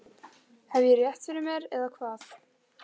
Hef ég rétt fyrir mér, eða hvað?